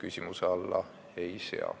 Arto Aas, palun!